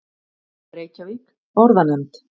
Reykjavík: Orðanefnd.